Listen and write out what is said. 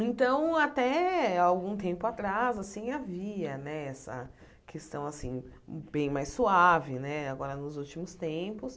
Então, até algum tempo atrás, assim, havia, né, essa questão, assim, bem mais suave, né, agora nos últimos tempos.